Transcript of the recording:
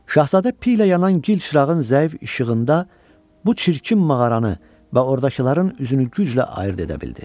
Şahzadə piylə yanan gil çırağın zəif işığında bu çirkin mağaranı və ordakıların üzünü güclə ayırd edə bildi.